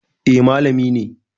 Eh, malami ne